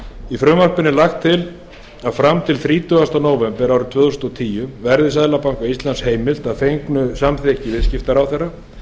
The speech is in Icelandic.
í frumvarpinu er lagt til að fram til þrítugasta nóvember tvö þúsund og tíu verði seðlabanka íslands heimilt að fengnu samþykki viðskiptaráðherra að